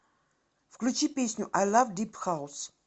включи песню ай лав дип хаус